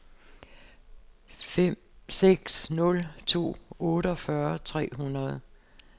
fem seks nul to otteogfyrre tre hundrede